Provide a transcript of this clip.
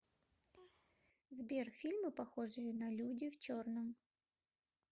сбер фильмы похожие на люди в черном